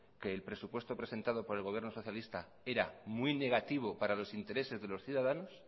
que el presupuesto presentado por el gobierno socialista era muy negativo para los intereses de los ciudadanos